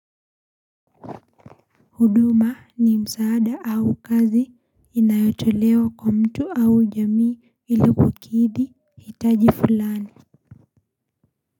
Huduma ni msaada au kazi inayotolewa kwa mtu au jamii inapokidhi hitaji fulani.